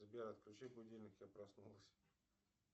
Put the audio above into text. сбер отключи будильник я проснулась